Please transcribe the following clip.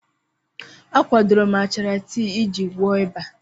A kwadoro m achara tii iji gwọọ ịba.